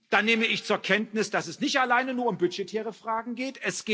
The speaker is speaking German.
Dann nehme ich zur Kenntnis, dass es nicht alleine um budgetäre Fragen geht.